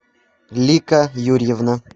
лика юрьевна